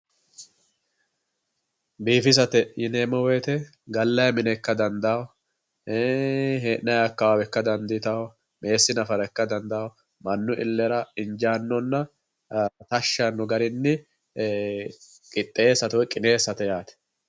Biifisate yineemmo woyiite gallayi mine ikka dandaanno, hee'nayi akkawaawe ikkita dandiitawo, meessi nafara ikka dandawo mannu illera injaannonna tashshi yaanno garinni qixxeessate woy qineessate yaate.